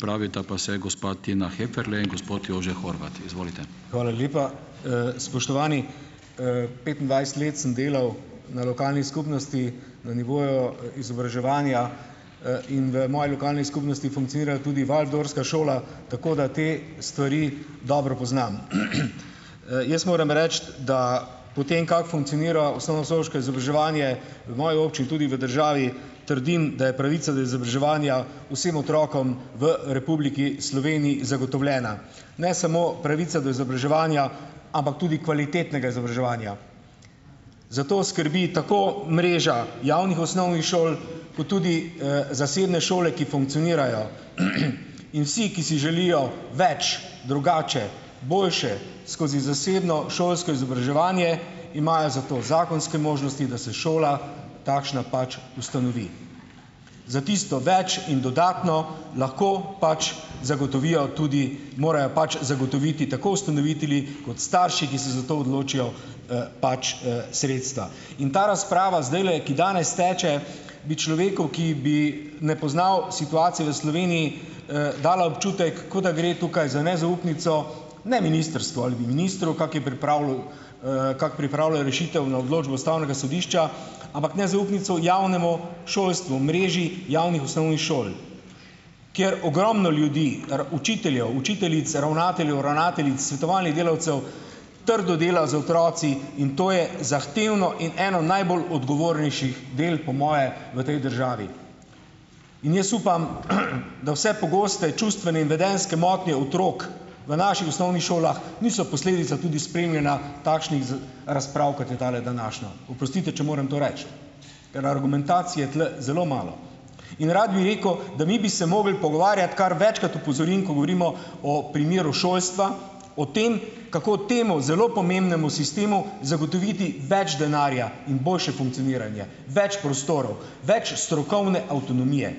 Hvala lepa. spoštovani! petindvajset let sem delal na lokalni skupnosti na nivoju izobraževanja, in v moji lokalni skupnosti funkcionirajo tudi waldorfska šola, tako da te stvari dobro poznam, Jaz moram reči, da po tem, kako funkcionira osnovnošolsko izobraževanje, v moji tudi v državi, trdim, da je pravica do izobraževanja vsem otrokom v Republiki Sloveniji zagotovljena. Ne samo pravica do izobraževanja, ampak tudi kvalitetnega izobraževanja. Za to skrbi tako mreža javnih osnovnih šol kot tudi, zasebne šole, ki funkcionirajo, in vsi, ki si želijo več, drugače, boljše, skozi zasebno šolsko izobraževanje imajo zato zakonske možnosti, da se šola takšna pač ustanovi. Za tisto več in dodatno lahko pač zagotovijo tudi, morajo pač zagotoviti tako ustanovitelji kot starši, ki se za to odločijo, pač, sredstva. In ta razprava zdajle, ki danes teče, bi človeku, ki bi ne poznal situacije v Sloveniji, dala občutek, kot da gre tukaj za nezaupnico, ne ministrstvu ali ministru, kako je pripravljal, kako pripravlja rešitev na odločbo Ustavnega sodišča, ampak nezaupnico javnemu šolstvu, mreži javnih osnovnih šol, kjer ogromno ljudi, učiteljev, učiteljic, ravnateljev, ravnateljic, svetovalnih delavcev, trdo dela z otroki in to je zahtevno in eno najbolj odgovornejših del po moje v tej državi. In jaz upam, da vse čustvene in vedenjske motnje otrok v naših osnovnih šolah niso posledica tudi spremljanja takšnih z razprav, kot je tale današnja. Oprostite, če moram to reči, ker argumentacije tule zelo malo. In rad bi rekel, da mi bi se mogli pogovarjati, kar večkrat opozorim, ko govorimo o primeru šolstva, o tem, kako temu zelo pomembnemu sistemu zagotoviti več denarja in boljše funkcioniranje, več prostorov, več strokovne avtonomije.